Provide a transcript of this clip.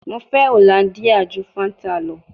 Mo fẹ Hollandia ju Fanta lọ